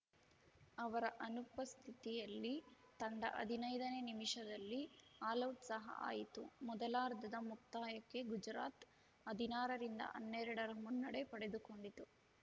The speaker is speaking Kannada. ಅವರ ಅನುಪಸ್ಥಿತಿಯಲ್ಲಿ ತಂಡ ಹದಿನೈದನೇ ನಿಮಿಷದಲ್ಲಿ ಆಲೌಟ್‌ ಸಹ ಆಯಿತು ಮೊದಲಾರ್ಧದ ಮುಕ್ತಾಯಕ್ಕೆ ಗುಜರಾತ್‌ ಹದಿನಾರ ರಿಂದ ಹನ್ನೆರಡ ರ ಮುನ್ನಡೆ ಪಡೆದುಕೊಂಡಿತು